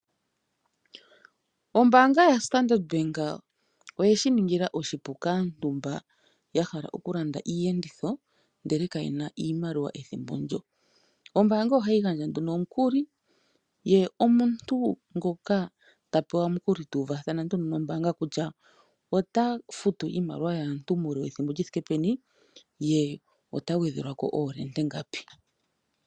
Ombaanga ya Standard Bank oyeshi ningila oshipu kaantu mba ya hala okulanda iiyenditho ndele kaye na iimaliwa ethimbo ndo. Ombaanga ohayi gandja nduno omukuli ye omuntu ngoka ta pewa omukuli ta uvathana nduno nombaanga, kutya ota futu iimaliwa yaantu muule wethimbo li thike peni ye ota gwedhelwa ko iihohela ingapi.